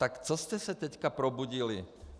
Tak co jste se teď probudili?